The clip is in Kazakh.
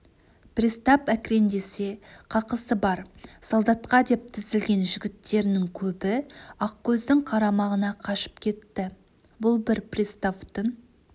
пристав әкіреңдесе қақысы бар солдатқа деп тізілген жігіттерінің көбі ақкөздің қарамағына қашып кетті бұл бір приставтың